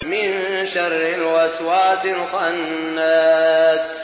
مِن شَرِّ الْوَسْوَاسِ الْخَنَّاسِ